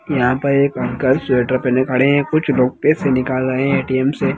यहाँ पर एक अंकल स्वेटर पेहने खड़े है कुछ लोग पैसे निकाल रहे है ए.टी.एम. से।